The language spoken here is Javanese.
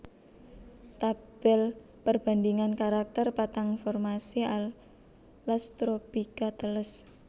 Tabel perbandingan karakter patang formasi alas tropika teles